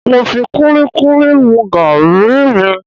Mo fi kúlíkúlí mu gàrí mi